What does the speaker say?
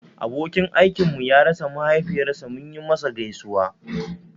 Abokin aikinmu ya rasa mahaifiyar sa munyi masa gaisuwa